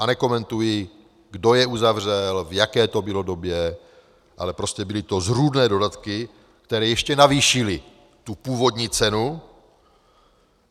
A nekomentuji, kdo je uzavřel, v jaké to bylo době, ale prostě byly to zrůdné dodatky, které ještě navýšily tu původní cenu.